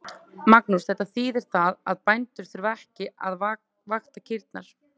Magnús: Þetta þýðir það að bændur þurfa ekki að vakta kýrnar?